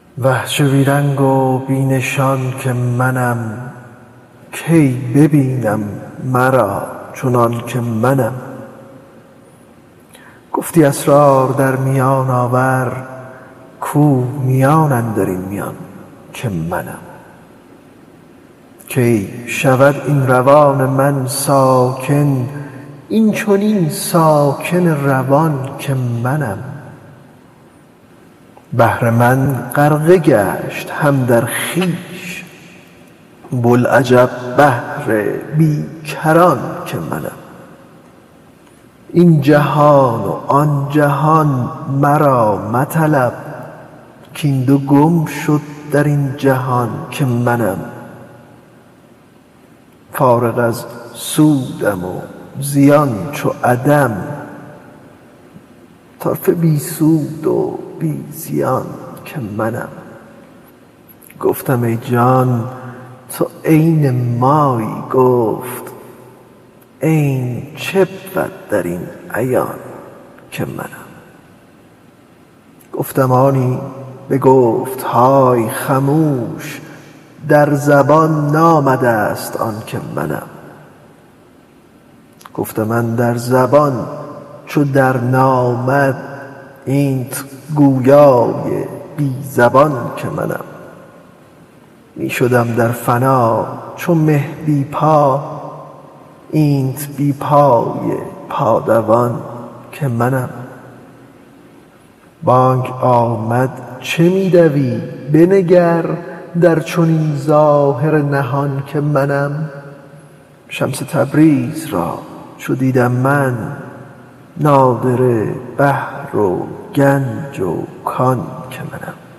اه چه بی رنگ و بی نشان که منم کی ببینم مرا چنان که منم گفتی اسرار در میان آور کو میان اندر این میان که منم کی شود این روان من ساکن این چنین ساکن روان که منم بحر من غرقه گشت هم در خویش بوالعجب بحر بی کران که منم این جهان و آن جهان مرا مطلب کاین دو گم شد در آن جهان که منم فارغ از سودم و زیان چو عدم طرفه بی سود و بی زیان که منم گفتم ای جان تو عین مایی گفت عین چه بود در این عیان که منم گفتم آنی بگفت های خموش در زبان نامده ست آن که منم گفتم اندر زبان چو درنامد اینت گویای بی زبان که منم می شدم در فنا چو مه بی پا اینت بی پای پادوان که منم بانگ آمد چه می دوی بنگر در چنین ظاهر نهان که منم شمس تبریز را چو دیدم من نادره بحر و گنج و کان که منم